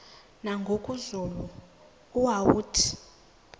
nangoku zulu uauthi